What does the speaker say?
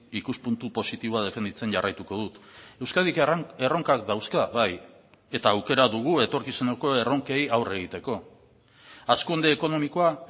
ikuspuntu positiboa defenditzen jarraituko dut euskadik erronkak dauzka bai eta aukera dugu etorkizuneko erronkei aurre egiteko hazkunde ekonomikoa